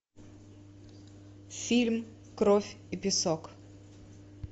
фильм кровь и песок